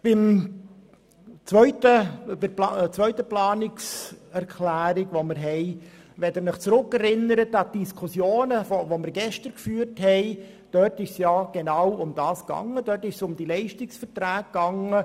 Zum zweiten Abänderungsantrag: In den Diskussionen, die wir gestern geführt haben, ging es genau um dieses Thema, nämlich um die Leistungsverträge.